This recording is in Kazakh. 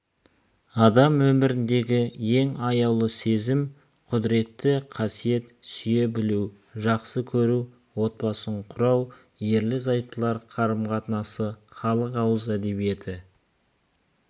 адам өміріндегі ең аяулы сезім құдіретті қасиет сүйе білу жақсы көру отбасын құрау ерлі-зайыптылар қарым қатынасы халық ауыз әдебиеті